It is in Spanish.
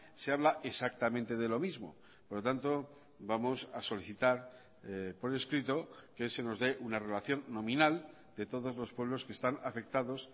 se habla exactamente de lo mismo por lo tanto vamos a solicitar por escrito que se nos dé una relación nominal de todos los pueblos que están afectados